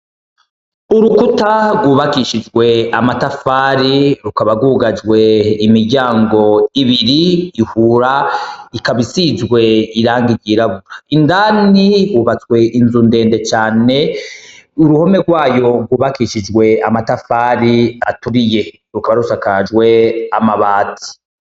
Urukuta rwubakishijwe amatafari rukaba rwugajwe imiryango ibiri ihura ikaba isizwe irangi ryirabura ,indani hubatswe inzu ndende cane ,uruhome rwayo rwubakishijwe amatafari aturiye rukaba rusakajwe amabati.